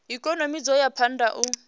ikonomi dzo ya phanda u